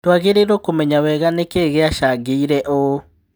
Tũagĩrĩirwo kũmenya wega nĩkĩĩ gĩacangĩire ũũ."